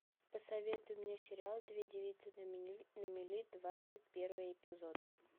посоветуй мне сериал две девицы на мели двадцать первый эпизод